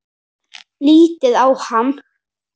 Lítið á hann!